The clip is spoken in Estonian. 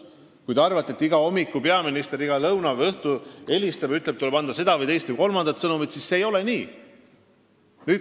Aga kui te arvate, et igal hommikul, lõunal või õhtul peaminister helistab sinna ja ütleb, et tuleb edastada seda, teist või kolmandat sõnumit, siis nii see ei ole.